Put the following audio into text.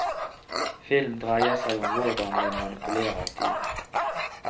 Film dreier seg om hvordan vi manipulerer tid.